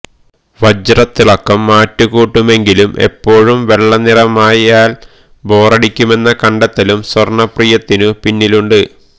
വജ്രത്തിളക്കം മാറ്റുകൂട്ടുമെങ്കിലും എപ്പോഴും വെള്ള നിറമായാല് ബോറടിക്കുമെന്ന കണ്ടെത്തലും സ്വര്ണ്ണപ്രിയത്തിനു പിന്നിലുണ്ട്